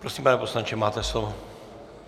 Prosím, pane poslanče, máte slovo.